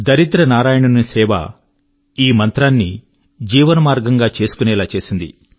దరిద్ర నారాయణుని సేవ ఈ మంత్రాన్ని జీవనమార్గం గా చేసుకునేలా చేసింది